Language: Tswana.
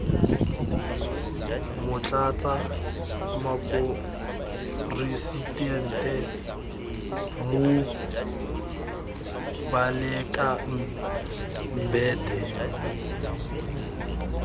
motlatsa moporesitente moh baleka mbete